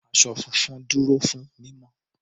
Àwọ̀ funfun dúró fún mímọ́.